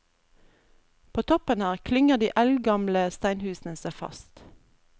På toppen her klynger de eldgamle steinhusene seg fast.